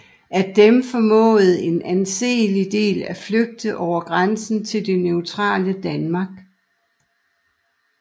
Af dem formåede en anselig del at flygte over grænsen til det neutrale Danmark